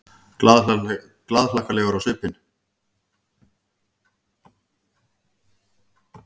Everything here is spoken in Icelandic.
Glaðhlakkalegur á svipinn.